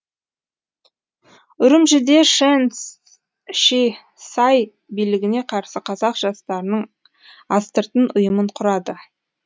үрімжіде шэн ши сай билігіне қарсы қазақ жастарының астыртын ұйымын құрады